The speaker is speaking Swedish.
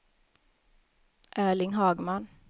Erling Hagman